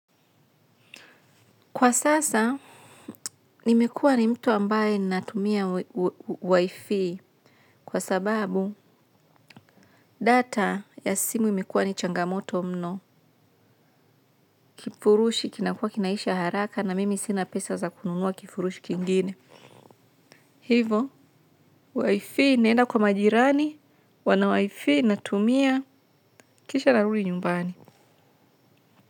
Kwa sasa nimekuwa ni mtu ambaye natumia wifi kwa sababu data ya simu imekua ni changamoto mno kifurushi kinakua kinaisha haraka na mimi sina pesa za kununua kifurushi kingine. Hivo, wifi naenda kwa majirani wana wifi natumia kisha narudi nyumbani.